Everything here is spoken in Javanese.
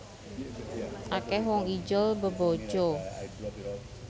Akeh wong ijol bebojo